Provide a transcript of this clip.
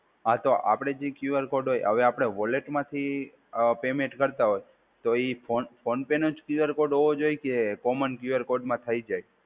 હા તો આપડો જે ક્યુ આર કોડ હોય હવે આપડે વોલેટમાંથી અ પેમેન્ટ કરતા હોય તો એ ફોન ફોન પે નો ક્યુ આર કોડ હોવો જોઈએ કે કોમન ક્યુ આર કોડમાં થઈ જાય?